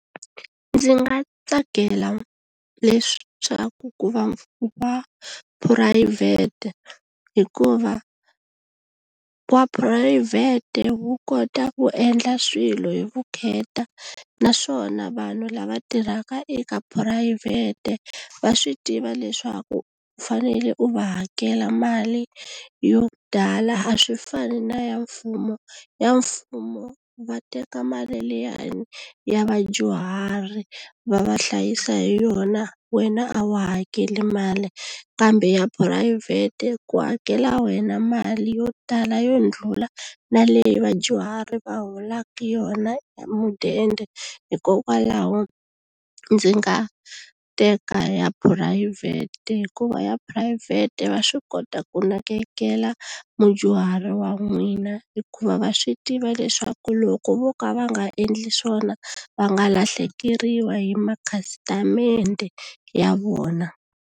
Ndzi nga tsakela leswaku ku va ku va phurayivhete hikuva wa phurayivhete wu kota ku endla swilo hi vukheta naswona vanhu lava tirhaka eka phurayivhete va swi tiva leswaku u fanele u va hakela mali yo tala a swi fani na ya mfumo ya mfumo va teka mali liyani ya vadyuhari va va hlayisa hi yona wena a wu hakeli mali kambe ya phurayivhete ku hakela wena mali yo tala yo ndlula na leyi vadyuhari va hola yona ya mudende hikokwalaho ndzi nga teka ya phurayivhete hikuva ya phurayivhete va swi kota ku nakekela mudyuhari wa n'wina hikuva va swi tiva leswaku loko vo ka va nga endli swona va nga lahlekeriwa hi makhasitamende ya vona.